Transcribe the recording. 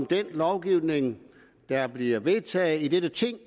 den lovgivning der bliver vedtaget i dette ting i